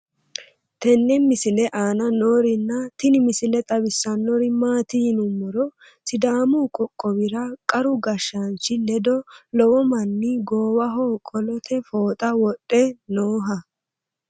tenne misile aana noorina tini misile xawissannori maati yinummoro sidaamu qoqqowira qaru gashshaanchi ledo lowo manni goowaho qolitte fooxxa wodhe nooha